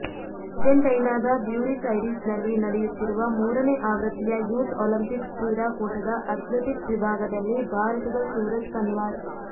ಅರ್ಜೆಂಟೈನಾದ Buenos Aires ನಲ್ಲಿ ನಡೆಯುತ್ತಿರುವ ಮೂರನೇ ಆವೃತ್ತಿಯ ಯೂತ್ ಒಲಂಪಿಕ್ಸ್ ಕ್ರೀಡಾಕೂಟದ ಅಥ್ಲೆಟಿಕ್ಸ್ ವಿಭಾಗದಲ್ಲಿ ಭಾರತದ ಸೂರಜ್ ಪನ್ವಾರ್